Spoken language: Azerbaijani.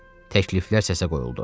Təkliflər səsə qoyuldu.